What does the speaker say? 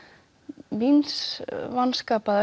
míns